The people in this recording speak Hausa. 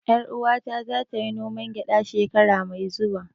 Ƴar uwata za ta yi noman gyada shekara mai zuwa